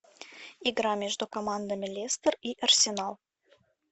игра между командами лестер и арсенал